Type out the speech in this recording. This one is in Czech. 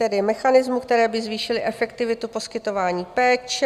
Tedy mechanismus, který by zvýšil efektivitu poskytování péče.